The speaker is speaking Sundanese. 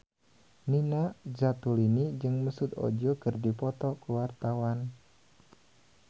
Nina Zatulini jeung Mesut Ozil keur dipoto ku wartawan